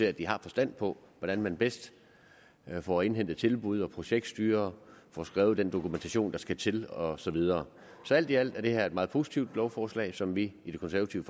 at de har forstand på hvordan man bedst får indhentet tilbud projektstyrer får skrevet den dokumentation der skal til og så videre så alt i alt er det her et meget positivt lovforslag som vi i det konservative